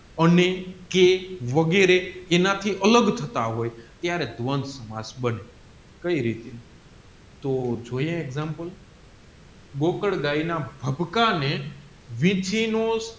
અને કેઃ વગેરે એના થી અલગ થતા હોય ત્યારે દ્વંધ સમાજ બને કઈ રીતે તોહ જોઈએ એક્ષામપ્લે ગાયના ને